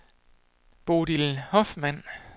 Bodil Hoffmann